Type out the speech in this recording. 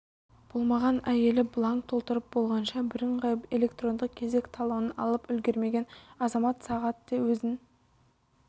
болмаған әйелі бланк толтырып болғанша біріңғай электрондық кезек талонын алып үлгермеген азамат сағат де өзін